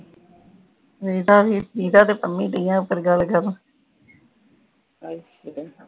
ਨੀਤਾ ਤੇ ਪੰਮੀ ਡਿਯਾ ਉਪਰ ਗਲ ਕਰਨ